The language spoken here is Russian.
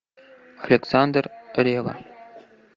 александр ревва